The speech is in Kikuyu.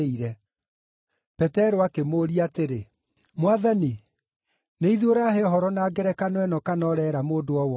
Petero akĩmũũria atĩrĩ, “Mwathani, nĩ ithuĩ ũrahe ũhoro na ngerekano ĩno kana ũreera mũndũ o wothe?”